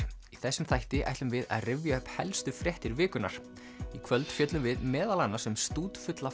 þessum þætti ætlum við að rifja upp helstu fréttir vikunnar í kvöld fjöllum við meðal annars um stútfulla